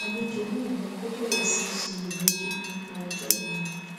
àlejò náà mú kó bẹrè sí í ṣiyèméjì nípa ọjó òla wọn